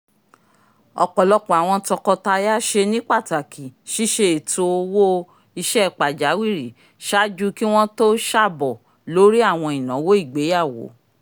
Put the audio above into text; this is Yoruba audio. ọpọlọpọ awọn tọkọtaya ṣe ní pàtàkì ṣiṣe ètó owo-iṣẹ pajawiri ṣáájú ki wọn to ṣabọ lórí àwọn ìnáwó ìgbéyàwó